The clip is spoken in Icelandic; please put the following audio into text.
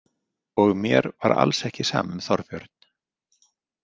Og mér var alls ekki sama um Þorbjörn.